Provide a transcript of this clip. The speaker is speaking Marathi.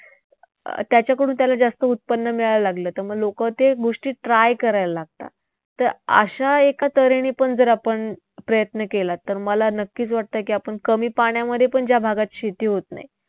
अं त्याच्याकडून त्याला जास्त उत्पन्न मिळायला लागलं तर मग लोकं ते गोष्टी try करायला लागतात. तर अशा एका तऱ्हेने पण जर आपण प्रयत्न केला तर मला नक्कीच वाटतंय की आपण कमी पाण्यामध्येपण ज्या भागात शेती होत नाही